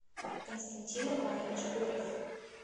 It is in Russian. константин иванович горев